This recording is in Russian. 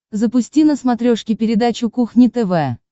запусти на смотрешке передачу кухня тв